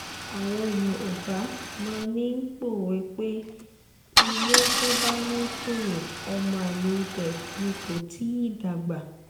àwọn yòówbà máa ń pòwe pé ilé tó bá ń tọrọ ọmọ àlè ibẹ̀ ni kò tì í dàgbà